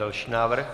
Další návrh.